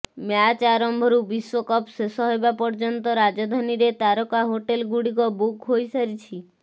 match ଆରମ୍ଭରୁ ବିଶ୍ବକପ୍ ଶେଷ ହେବା ପର୍ଯ୍ୟନ୍ତ ରାଜଧାନୀରେ ତାରକା ହୋଟେଲ ଗୁଡ଼ିକ ବୁକ୍ ହୋଇସାରିଛି